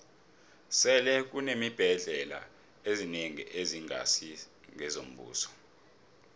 sele kuneembhendlela ezinengi ezingasi ngezombuso